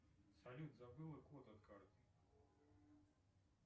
салют забыл код от карты